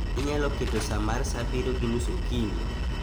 Inyalo keto sa mar sa abiriyo gi nus okinyi.